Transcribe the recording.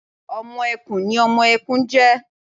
Ọmọ ẹkùn ni ọmọ ẹkùn ń jẹ́